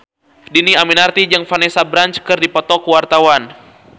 Dhini Aminarti jeung Vanessa Branch keur dipoto ku wartawan